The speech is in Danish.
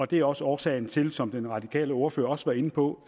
det er også årsagen til som den radikale ordfører også var inde på